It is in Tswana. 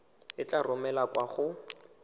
e tla romelwa kwa go